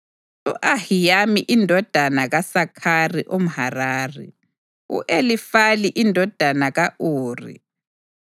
u-Ahiyamu indodana kaSakhari umHarari, u-Elifali indodana ka-Uri,